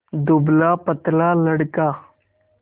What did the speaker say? दुबलापतला लड़का